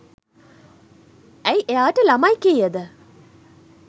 ඇයි එයාට ළමයි කීයද